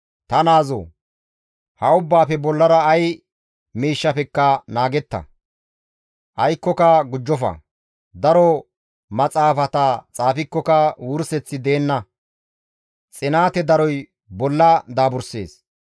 Ta naazoo! Ha ubbaafe bollara ay miishshafekka naagetta; aykkoka gujjofa; daro maxaafata xaafikkoka wurseththi deenna; xinaate daroy bolla daaburssees.